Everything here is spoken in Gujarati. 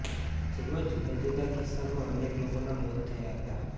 જેમાં જુદા જુદા કિસ્સામાં અનેક લોકોનાં મોત થયા હતા